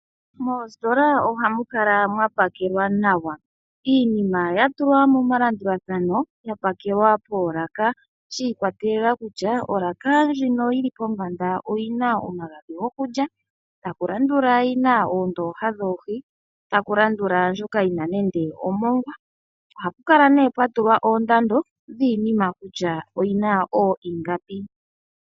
Moositola ohamu kala mwa pakelwa nawa, iinima ya tulwa momalandulathano ya pakelwa poolaka shi ikwatelela kutya olaka ndjino yili pombanda oyina omagadhi gokulya ,takulandula yi na oondooha dhoohi, takulandula ndjoka yi na nande omongwa . Ohapukala nee pwa tulwa oondando dhiinima kutya oyina ingapi .